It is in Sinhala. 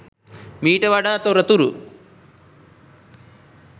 මිට වඩා තොරතුරු